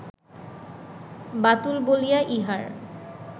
বাতুল বলিয়া ইহার